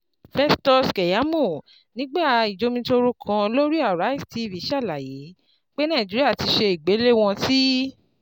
Festus Keyamo nigba ijomitoro kan lori Arise TV ṣalaye pe Naijiria ti ṣe igbelewọn ti